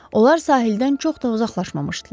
Onlar sahildən çox da uzaqlaşmamışdılar.